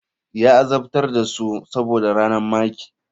Ya azabtar da su saboda ranar maker.